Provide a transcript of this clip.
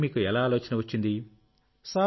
ఈ పనికి మీకు ఎలా ఆలోచన వచ్చింది